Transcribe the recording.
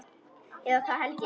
Eða það held ég.